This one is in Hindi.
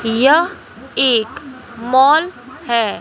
यह एक मॉल है।